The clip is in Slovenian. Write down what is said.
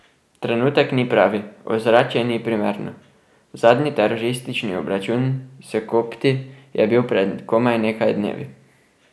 Trenutek ni pravi, ozračje ni primerno, zadnji teroristični obračun s kopti je bil pred komaj nekaj dnevi.